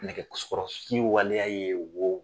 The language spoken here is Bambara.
Nɛgɛkɔrɔsigi waleya ye wo